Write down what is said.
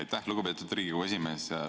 Aitäh, lugupeetud Riigikogu esimees!